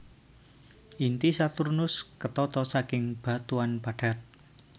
Inti Saturnus ketata saking batuan padat